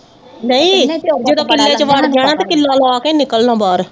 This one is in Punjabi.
ਨਈਂ ਜਦੋਂ ਕਿੱਲੇ ਚ ਵੜ ਜਾਣਾ ਤਾਂ ਕਿ ਕਿੱਲਾ ਲਾ ਕੇ ਈ ਨਿਕਲਣਾ ਬਾਹਰ